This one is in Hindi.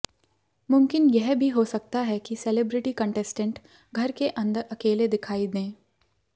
मुमकिन यह भी हो सकता है कि सेलिब्रिटी कंटेस्टेंट घर के अंदर अकेले दिखाई दें